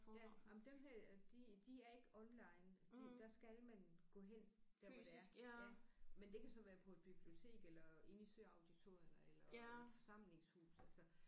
Ja jamen dem her de de er ikke online de der skal man gå hen der hvor det er ja men det kan så være på et bibliotek eller inde i søauditoriet eller i et forsamlingshus altså